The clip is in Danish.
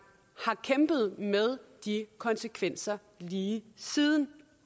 har kæmpet med de konsekvenser lige siden